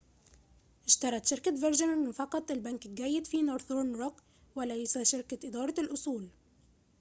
اشترت شركة فيرجن فقط البنك الجيّد في نورثرن روك ، وليس شركة إدارة الأصول